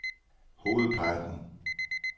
hovedparten